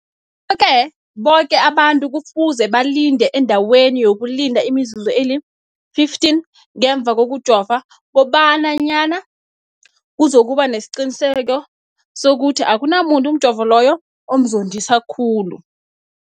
Ngikho-ke boke abantu kufuze balinde endaweni yokulinda imizuzu eli-15 ngemva kokujova, koba nyana kuzokuba nesiqiniseko sokuthi akunamuntu umjovo loyo omzondisa khulu.